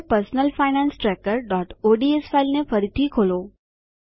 હવે personal finance trackerઓડ્સ ફાઈલને ફરીથી ખોલો